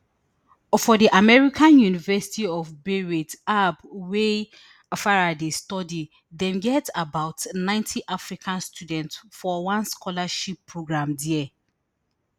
for di american university of beirut aub wia farai dey study dem get about ninety african students for one scholarship programme dia